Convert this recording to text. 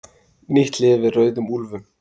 Nýtt lyf við rauðum úlfum